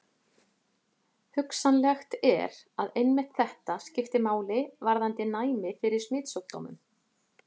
Hugsanlegt er, að einmitt þetta skipti máli varðandi næmi fyrir smitsjúkdómum.